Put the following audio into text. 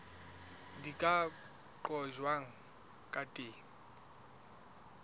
di ka qojwang ka teng